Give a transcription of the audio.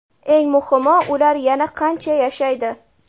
Eng muhimi, ular yana qancha yashaydi?